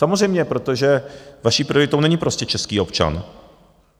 Samozřejmě, protože vaší prioritou není prostě český občan.